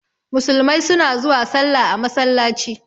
Musulmai suna zuwa salla a masallaci.